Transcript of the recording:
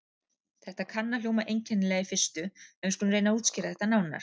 Þetta kann að hljóma einkennilega í fyrstu, en við skulum reyna að útskýra þetta nánar.